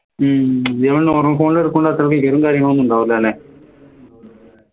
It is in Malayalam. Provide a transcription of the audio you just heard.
ഹും കാര്യങ്ങളൊന്നും ഉണ്ടാവില്ല അല്ലേ